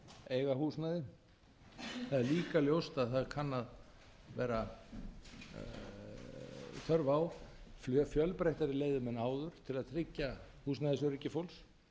eiga húsnæði það er líka ljóst að það kann að vera þörf á fjölbreyttari leiðum en áður til að tryggja húsnæðisöryggi fólks